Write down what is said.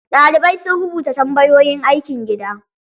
Ɗalibai sun rubuta tambayoyin aikin gida.